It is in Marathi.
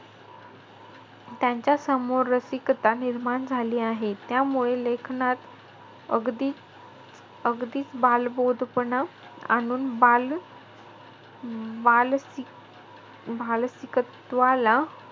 त्यांच्या समोर रसिकता निर्माण झाली आहे. त्यामुळे लेखनात अगदीचं-अगदीचं बालबोधपणा आणून बाल~ बालसिक भालसीकत्वाला,